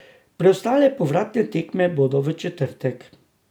Preostale povratne tekme bodo v četrtek.